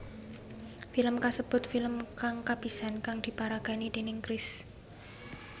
Film kasebut film kang kapisan kang diparagani déning Chris